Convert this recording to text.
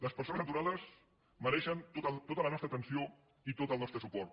les persones aturades mereixen tota la nostra atenció i tot el nostre suport